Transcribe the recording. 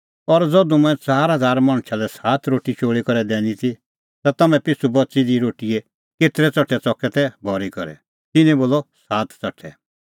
और ज़धू मंऐं च़ार हज़ार मणछा लै सात रोटी चोल़ी करै दैनी ती ता तम्हैं पिछ़ू बच़ी दी रोटीए केतरै च़ठै च़कै तै भरी करै तिन्नैं बोलअ सात च़ठै